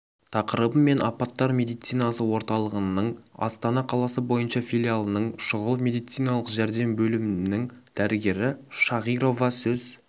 тақырыбымен апаттар медицинасы орталығының астана қаласы бойынша филиалының шұғыл медициналық жәрдем бөлімінің дәрігері шағирова сөз